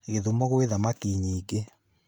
Githumo gwĩ thamaki nyingĩ